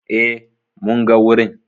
E, mun ga wurin.